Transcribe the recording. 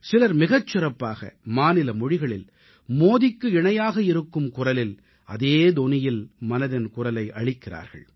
சிலர் மிகச் சிறப்பாக மாநில மொழிகளில் மோடிக்கு இணையாக இருக்கும் குரலில் அதே தொனியில் மனதின் குரலை அளிக்கிறார்கள்